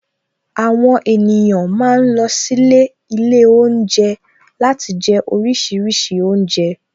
Àwon èniyàn ma ń lọ sílé Ilé oúnjẹ láti jẹ oríṣiríṣi oúnjẹ